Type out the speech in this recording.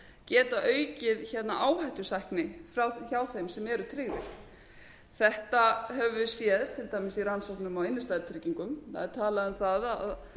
geta aukið áhættusækni hjá þeim sem eru tryggðir þetta höfum við séð til dæmis í rannsóknum á innstæðutryggingum það er talað um það